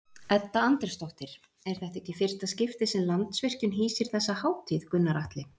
Edda Andrésdóttir: Er þetta ekki í fyrsta skipti sem Landsvirkjun hýsir þessa hátíð Gunnar Atli?